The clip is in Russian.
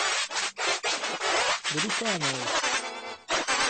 брюхановой